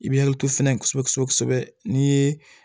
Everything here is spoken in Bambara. I bɛ hakili to fɛnɛ kosɛbɛ kosɛbɛ n'i ye